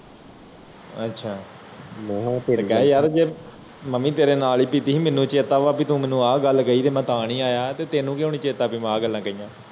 ਅੱਛਾ ਮੈਂ ਕਿਹਾ ਯਾਰ ਜੇ ਮੈਂ ਭੀ ਤੇਰੇ ਨਾਲ ਪੀਤੀ ਸੀ ਮੇਨੂ ਚੇਤਾ ਹੈ ਵਾ ਤੂੰ ਮੇਨੂ ਇਹ ਗੱਲ ਕਹਿ ਮੈਂ ਤਾ ਨੀ ਆਯਾ ਤੇ ਤੈਨੂੰ ਕ੍ਯੂਂ ਨੀ ਚੇਤਾ ਭੀ ਮੈਂ ਆ ਗੱਲਾਂ ਕਹੀਆਂ